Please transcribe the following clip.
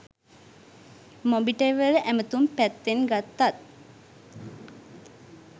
මොබිටෙල් වල ඇමතුම් පැත්තෙන් ගත්තත්